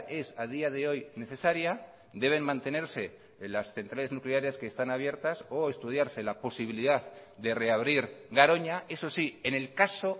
es a día de hoy necesaria deben mantenerse las centrales nucleares que están abiertas o estudiarse la posibilidad de reabrir garoña eso sí en el caso